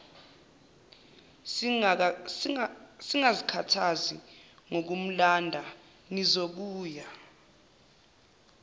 singazikhathazi ngokumlanda nizobuya